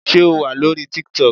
Sé O wà lórí TikTok.